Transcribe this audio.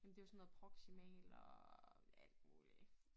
Ja men det jo sådan noget proximal og alt muligt